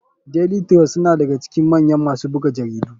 Daily trust suna daga cikin mayan masu buga jaridu.